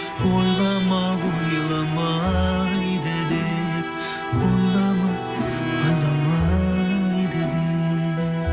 ойлама ойламайды деп ойлама ойламайды деп